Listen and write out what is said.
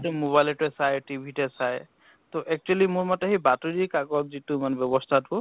যিহেতু mobile তে চায়, TV তে চায় তʼ actually মোৰ মতে সেই বাতৰি কাকত যিটো মানে ব্য়ৱ্স্থাটো